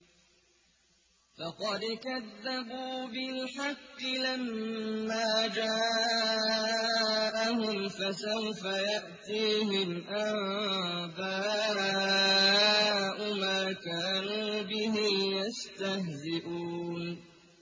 فَقَدْ كَذَّبُوا بِالْحَقِّ لَمَّا جَاءَهُمْ ۖ فَسَوْفَ يَأْتِيهِمْ أَنبَاءُ مَا كَانُوا بِهِ يَسْتَهْزِئُونَ